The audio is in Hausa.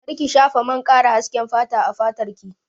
Kar ki shafa man ƙara hasken fata a fatar ki!